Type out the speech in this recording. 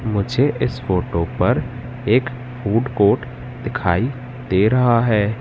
मुझे इस फोटो पर एक फूड कोट दिखाई दे रहा है।